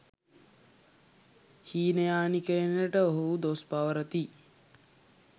හීනයානිකයනට ඔවුහු දොස් පවරති.